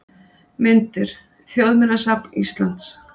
Myndir: Þjóðminjasafn Íslands.